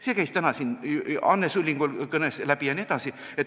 See käis täna Anne Sullingul kõnest läbi.